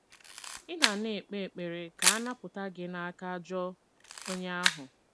Ị̀ na na - ekpe ekpere ka a napụta gị n’aka “ ajọ onye ahụ ”?